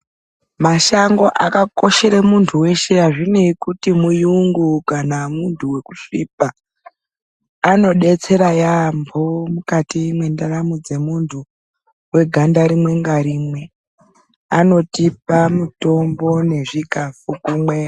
Mashango akakoshere muntu weshe azvineyi kuti muyungu kana munhu wekusvipa anodetsera yaamho mukati mwendaramo dzemuntu weganda rimwe ngarimwe anotipa mutongo nezvikafu kumwe...........